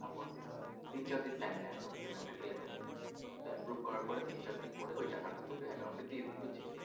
upwork তিন চার দিন time নেয় আরও payment টা clear করতে তো approve করার তিন চার দিন পরে এই টাকা টা তোকে account এ দিয়ে দেবে বুঝছিস?